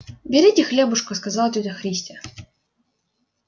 берите хлебушка сказала тётя христя